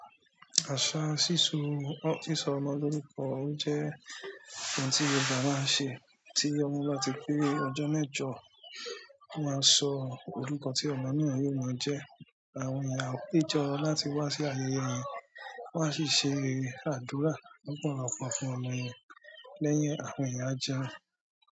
Àṣà síso ọ sísọ ọmọ lórúkọ ó jẹ́ ohun tí Yorùbá máa ń ṣe, tí ọmọ bá ti pé ọjọ́ mẹ́jọ, máa sọ orúkọ tí ọmọ náà yóò máa jẹ́, àwọn ìyá ọtí jọ láti wá sí ayẹyẹ yẹn, wọ́n á sì ṣe àdúrà lọ́pọ̀lọpọ̀ fún ọmọ yẹn. Lẹ́yìn ẹ̀, àwọn èèyàn á jẹun.